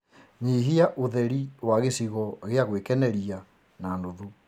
nyĩhĩa ũtherĩ wa gicigo gia guikeneria na nũthũ